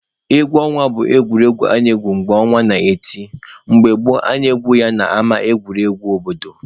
Egwu ọnwa bụ egwuregwu a na-egwu mgbe ọnwa n'eti. Mgbe gboo, a na-egwu ya n'ama egwuregwu obodo.